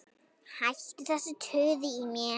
Hættu þessu tuði í mér.